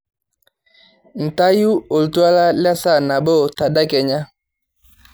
ntayu oltuala lesaa nabo tedekenya